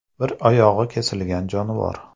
Bir oyog‘i kesilgan jonivor.